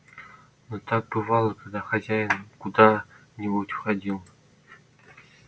но так бывало когда хозяин куда-нибудь уходил